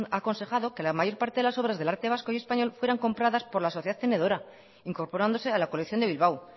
ha aconsejado que la mayor parte de las obras del arte vasco y español fueran compradas por la sociedad tenedora incorporándose a la colección de bilbao